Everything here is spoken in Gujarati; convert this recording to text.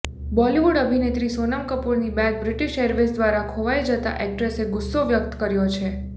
બોલિવૂડ અભિનેત્રી સોનમ કપૂરની બેગ બ્રિટિશ એરવેઝ દ્વારા ખોવાઈ જતા એક્ટ્રેસે ગુસ્સો વ્યક્ત કર્યો છે